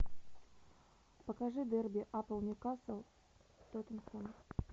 покажи дерби апл ньюкасл тоттенхэм